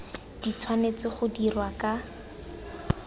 di tshwanetse go dirwa ka